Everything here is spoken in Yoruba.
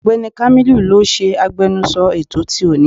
Ọ̀gbẹ́ni kámílù ló ṣe agbẹnusọ ètò ti òní.